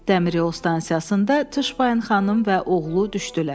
Dəmiryol stansiyasında Tışbayn xanım və oğlu düşdülər.